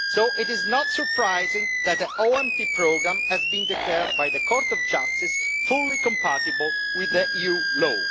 So it is not surprising that the OMT programme has been declared by the Court of Justice fully compatible with EU law.